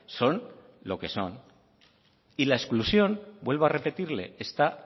son lo que son y las exclusión vuelvo a repetirle está